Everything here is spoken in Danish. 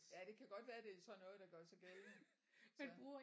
Ja det kan godt være det er sådan noget der gør sig gældende så